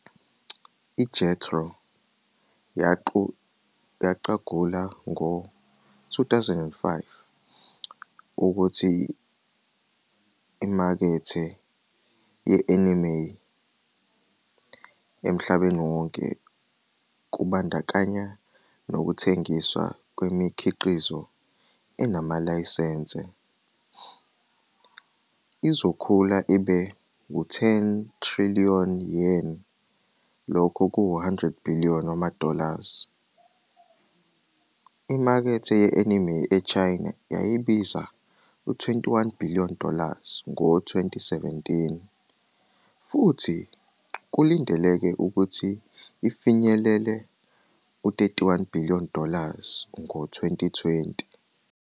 IJETRO yaqagula ngo-2005 ukuthi imakethe ye-anime emhlabeni wonke, kubandakanya nokuthengiswa kwemikhiqizo enamalayisense, izokhula ibe 10 trillion Yen,100 billion dollars. Imakethe ye-anime eChina yayibiza 21 billion dollars ngo-2017, futhi kulindeleke ukuthi ifinyelele 31 billion dollars ngo-2020.